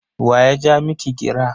Wa ya ja miki gira?